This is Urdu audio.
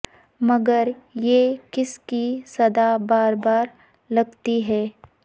مگر یہ کسی کی صدا بار بار لگتی ہے